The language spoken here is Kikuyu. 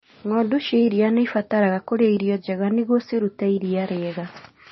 Ng'ondu cia iria nĩ ibataraga kũrĩa irio njega nĩguo cirute iria rĩega.